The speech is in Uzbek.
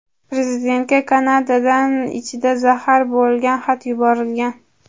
Prezidentga Kanadadan ichida zahar bo‘lgan xat yuborilgan.